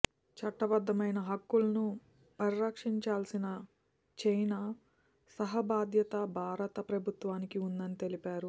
చట్టబద్ధమైన హక్కులను పరిరక్షించాల్సిన చైనా సహా బాధ్యత భారత ప్రభుత్వానికి ఉందని తెలిపారు